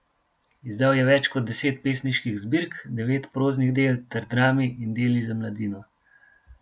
Izdal je več kot deset pesniških zbirk, devet proznih del ter drami in deli za mladino.